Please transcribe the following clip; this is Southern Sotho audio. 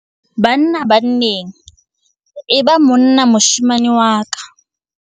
Banna-banneng- E ba monna moshemane wa ka